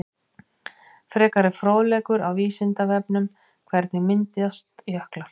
Frekari fróðleikur á Vísindavefnum: Hvernig myndast jöklar?